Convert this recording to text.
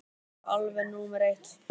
Það er nú alveg númer eitt.